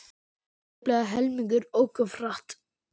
Tæplega helmingur ók of hratt